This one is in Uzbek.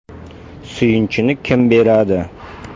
“Suyunchini kim beradi?